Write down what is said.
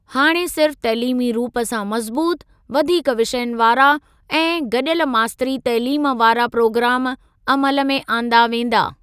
हाणे सिर्फ़ तइलीमी रूप सां मज़बूत, वधीक विषयनि वारा ऐं गॾियल मास्तरी तइलीम वारा प्रोग्राम अमल में आंदा वेंदा।